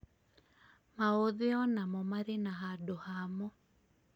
Maũthĩ o namo marĩ na handũ hamo